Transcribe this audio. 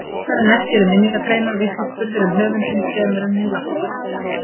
Oftar en ekki eru minningargreinar vitnisburður um höfundinn fremur en hinn látna.